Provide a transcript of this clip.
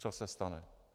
Co se stane?